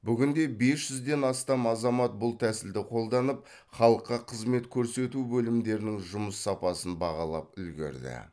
бүгінде бес жүзден астам азамат бұл тәсілді қолданып халыққа қызмет көрсету бөлімдерінің жұмыс сапасын бағалап үлгерді